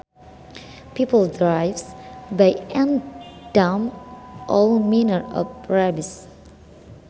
People drive by and dump all manner of rubbish